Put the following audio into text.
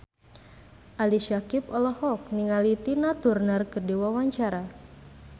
Ali Syakieb olohok ningali Tina Turner keur diwawancara